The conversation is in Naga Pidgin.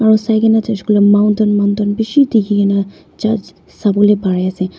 aro sai ke na jaise koile mountain mountain bishi dikhi ke na churse sha bole pai ase.